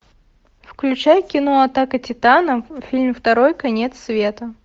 включай кино атака титанов фильм второй конец света